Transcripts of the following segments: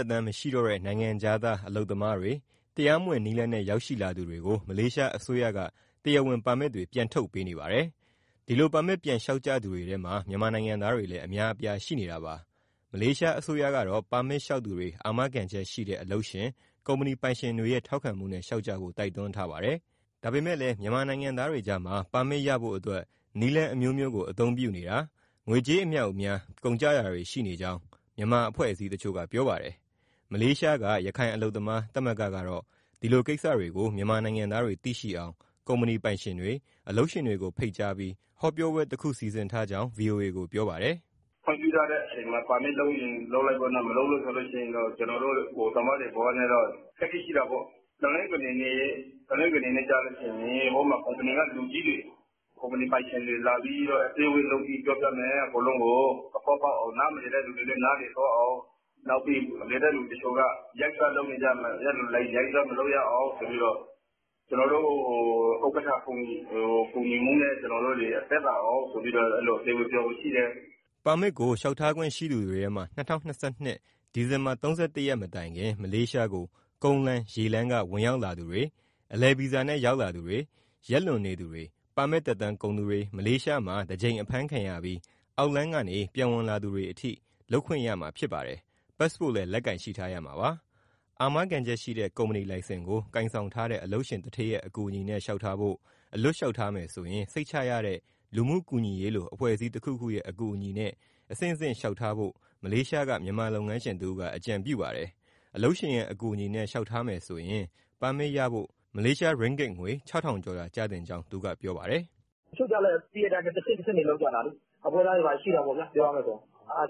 က်တမ်း မရှိတော့တဲ့ နိုင်ငံခြားသား အလုပ်သမားတွေ၊ တရားမဝင် နည်းလမ်းနဲ့ ရောက်ရှိလာသူတွေကို မလေးရှားအစိုးရက တရားဝင်ပါမစ်တွေ ပြန်ထုတ်ပေးနေပါတယ်။ ဒီလိုပါမစ် ပြန်လျှောက်ကြသူတွေထဲမှာ မြန်မာနိုင်ငံသားတွေလည်း အများအပြားရှိနေတာပါ။ မလေးရှားအစိုးရကတော့ ပါမစ်လျှောက်သူတွေကို အာမခံချက်ရှိတဲ့ အလုပ်ရှင်၊ ကုမ္ပဏီပိုင်ရှင်တွေရဲ့ ထောက်ခံမှုနဲ့ လျှောက်ကြဖို့ တိုက်တွန်းထားပါတယ်။ ဒါပေမဲ့လည်း မြန်မာနိုင်ငံသားတွေကြားမှာ ပါမစ်ရဖို့အတွက် နည်းလမ်းအမျိုးမျိုးကို အသုံးပြုနေတာ၊ ငွေကြေး အမြောက်အများ ကုန်ကျနေတာတွေရှိကြောင်း မြန်မာအဖွဲ့အစည်းတချို့က ပြောပါတယ်။ မလေးရှားက ရခိုင်အလုပ်သမားသမဂ္ဂကတော့ ဒီလိုကိစ္စတွေကို မြန်မာနိုင်ငံသားတွေ သိရှိအောင် ကုမ္ပဏီပိုင်ရှင်တွေ၊ အလုပ်ရှင်တွေကို ဖိတ်ကြားပြီး ဟောပြောပွဲတခု စီစဉ်ထားကြောင်း ဗွီအိုအေကို ပြောပါတယ်။ " ခွင့်ပြုထားတဲ့အချိန်မှာ ပါမစ်လုပ်ချင် လုပ်လိုက်ပေါ့နော်၊ မလုပ်လို့ရှိရင် ကျနော်တို့ overstay သမားတွေနဲ့တော့ အခက်အခဲရှိတာပေါ့။ တနင်္ဂနွေနေ့ကျရင် ကုမ္ပဏီက လူကြီးတွေ၊ ကုမ္ပဏီပိုင်ရှင်တွေလာပြီး အစည်းအဝေးလုပ် ပြောပြမယ် အကုန်လုံးကို၊ နားမလည်တဲ့သူတွေလည်း နားလည်သွားအောင်၊ နောက်ပြီး လည်တဲ့သူတချို့က ရိုက်စား မလုပ်ရအောင် ဆိုပြီးတော့ ကျနော်တို့ ဥက္ကဋ္ဌ ကူညီမှုနဲ့ အစည်းအဝေး ပြောဖို့ရှိတယ်။" ပါမစ်ကို လျှောက်ထားခွင့်ရှိသူတွေထဲမှာ ၂၀၂၂ ဒီဇင်ဘာ ၃၁ ရက် မတိုင်ခင် မလေးရှားကို ကုန်းလမ်း၊ ရေလမ်းက ဝင်ရောက်လာသူတွေ၊ အလည်ဗီဇာနဲ့ ရောက်လာသူတွေ၊ ရက်လွန်နေသူတွေ၊ ပါမစ် သက်တမ်းကုန်သူတွေ၊ မလေးရှားမှာ တကြိမ် ဖမ်းခံရပြီး အောက်လမ်းကနေ ပြန်ဝင်လာသူတွေအထိ လုပ်ခွင့်ရမှာဖြစ်ပါတယ်။ ပတ်စ်ပို့လည်း လက်ကိုင်ရှိထားရမှာပါ။ အာမခံချက်ရှိတဲ့ ကုမ္ပဏီလိုင်စင်ကို ကိုင်ဆောင်ထားတဲ့ အလုပ်ရှင်သူဌေးရဲ့ အကူအညီနဲ့ လျှောက်ထားဖို့၊ အလွတ် လျှောက်ထားမယ်ဆိုရင် စိတ်ချရတဲ့ လူမှုကူညီရေးလို အဖွဲ့အစည်းတခုခုရဲ့ အကူအညီနဲ့ အဆင့်ဆင့်လျှောက်ထားဖို့ မလေးရှားက မြန်မာလုပ်ငန်းရှင်တဦးက အကြံပြုပါတယ်။ အလုပ်ရှင်ရဲ့ အကူအညီနဲ့ လျှောက်ထားမယ်ဆိုရင် ပါမစ်ရဖို့ မလေးရှား ရင်းဂစ်ငွေ ၆,၀၀၀ ကျော်သာ ကျသင့်ကြောင်း သူကပြောပါတယ်။ " တချို့ကလည်း သိတဲ့အတိုင်းပဲ တဆင့်ဆင့်တွေ လုပ်ကြတာလေ၊ ပွဲစားတွေ ဘာတွေ ရှိတာပေါ့ဗျာ။ အဲဒါတွေ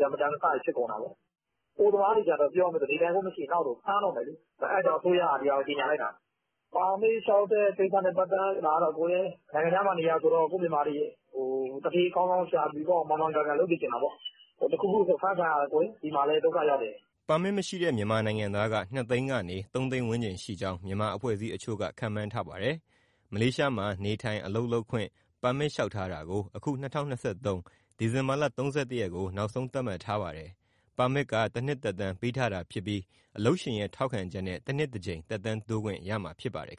ကျ မတန်တဆတွေ ဖြစ်ကုန်တာပေါ့။ အိုသမားတွေ ကျတော့ နေထိုင်ခွင့် မရှိရင် နောက်ဆို ဖမ်းတော့မယ်လေ၊ အဲဒါမို့ အစိုးရက ဒါကိုကြေညာလိုက်တာ။ ပါမစ်လျှောက်တဲ့ကိစ္စနဲ့ ပတ်သက်တာကတော့ နိုင်ငံခြားမှာနေတာဆိုတော့ ကိုယ့်မြန်မာတွေကို သူဌေးကောင်းကောင် ရှာပြီးတော့ မှန်မှန်ကန်ကန် လုပ်စေချင်တာပေါ့။ တခုခုဆို ဖမ်းခံရတာ ဒီမှာလည်း ဒုက္ခရောက်တယ်။" ပါမစ် မရှိတဲ့ မြန်မာနိုင်ငံသားက ၂ သိန်းကနေ ၃ သိန်းဝန်းကျင်ရှိကြောင်း မြန်မာအဖွဲ့အစည်းတချို့က ခန့်မှန်းထားပါတယ်။ မလေးရှားမှာ နေထိုင်၊ အလုပ်လုပ်ခွင့် ပါမစ်လျှောက်ထားတာကို အခု ၂၀၂၃ ဒီဇင်ဘာလ ၃၁ ရက်ကို နောက်ဆုံး သတ်မှတ်ထားပါတယ်။ ပါမစ်က တနှစ်သက်တမ်း ပေးထားတာဖြစ်ပြီး အလုပ်ရှင်ရဲ့ ထောက်ခံချက်နဲ့ တနှစ်တကြိမ် သက်တမ်းတိုးခွင့် ရမှာဖြစ်ပါတယ်